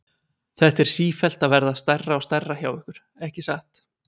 Þetta er sífellt að verða stærra og stærra hjá ykkur, ekki satt?